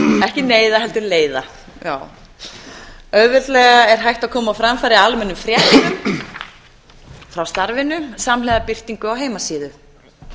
ekki neyða heldur leiða já auðveldlega er hægt að koma á framfæri almennum fréttum frá starfinu samhliða birtingu á heimasíðu